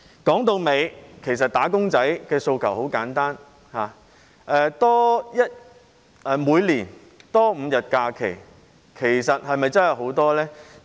說到底，"打工仔"的訴求很簡單，每年多5天假期是否真的很多？